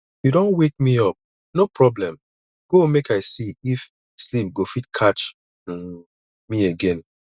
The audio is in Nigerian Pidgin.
you don wake me up no problem go make i see if sleep go fit catch um me again